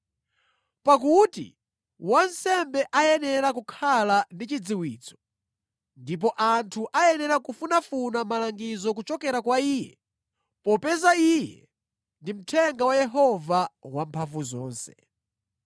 “Pakuti wansembe ayenera kukhala ndi chidziwitso, ndipo anthu ayenera kufunafuna malangizo kuchokera kwa iye, popeza iye ndi mthenga wa Yehova Wamphamvuzonse.